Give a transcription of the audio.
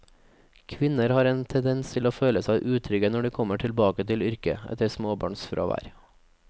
Kvinner har en tendens til å føle seg utrygge når de kommer tilbake til yrket etter småbarnsfravær.